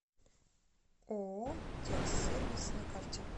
ооо текс сервис на карте